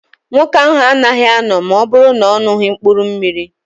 Nwoke ahụ anaghị anọ ma ọ bụrụ na-oṅughi mkpụrụ mmiri.